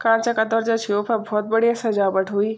कांचा का द्वारजा छिन उन्फार भोत बढ़िया सजावट हूयी ।